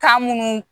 Kan munnu